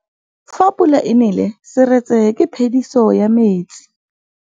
Fa pula e nelê serêtsê ke phêdisô ya metsi.